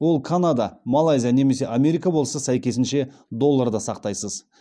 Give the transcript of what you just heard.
ол канада малайзия немесе америка болса сәйкесінше долларда сақтайсыз